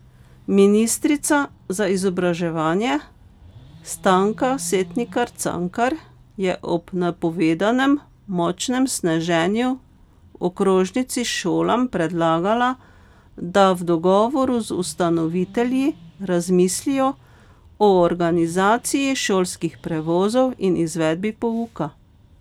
Ministrica za izobraževanje Stanka Setnikar Cankar je ob napovedanem močnem sneženju v okrožnici šolam predlagala, da v dogovoru z ustanovitelji razmislijo o organizaciji šolskih prevozov in izvedbi pouka.